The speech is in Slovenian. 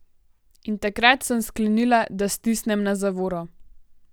In takrat sem sklenila, da stisnem na zavoro.